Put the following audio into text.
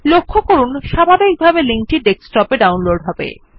লক্ষ্য করুন স্বাভাবিকভাবে লিংক টি ডেস্কটপ ডাউনলোড হবে